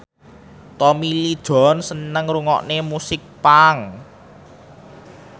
Tommy Lee Jones seneng ngrungokne musik punk